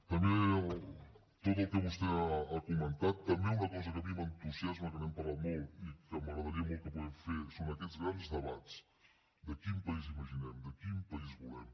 també tot el que vostè ha comentat també una cosa que a mi m’entusiasma que n’hem parlat molt i que m’agradaria molt que poguéssim fer són aquests grans debats de quin país imaginem de quin país volem